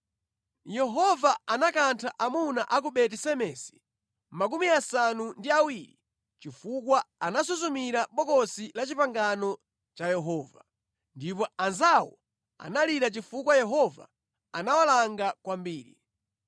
Yehova anakantha amuna a ku Beti-Semesi 70 chifukwa anasuzumira mʼBokosi la Chipangano cha Yehova. Ndipo anzawo analira chifukwa Yehova anawalanga kwambiri.